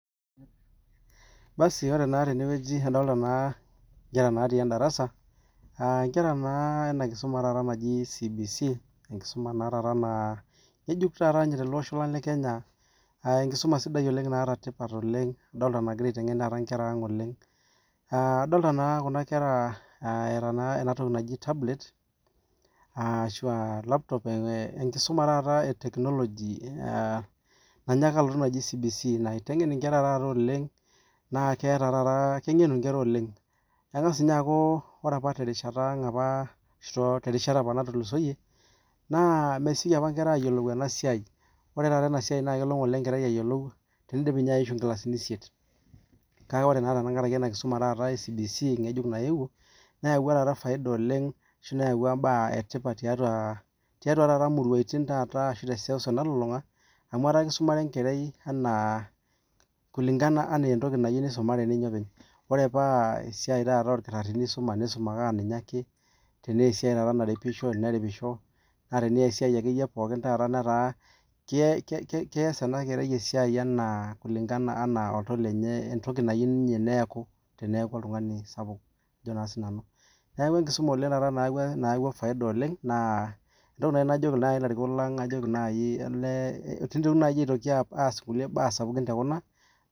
basi ore naa tene nadoolta inkera natii endarasa naagira aimusuma enakisuma e CBC aa enkisuma ngejuuk tolosho lang lekenya adoolta naa ajo eeta inkera tablet/laptop negira aitengen inkera ooleng ore apa toongolongi naatulusoitie nemesioki apa nkera aayiolou ena siai kelo apa enkerai ayiolou tenidip aishu nkilasini isiet kake ore naa enakisuma netaa enetipat amuu kisumare enkerai entoki natyiou neeku ninye openy tenaa kenoorkitarini naa ina ake tenaa kenaripisho naa ninye ake kiteru aa kitu entoki nayiou neeku kajoki ilarikok pees inkulie baa sapukin aalang kuna